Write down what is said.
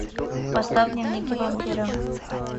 поставь дневники вампира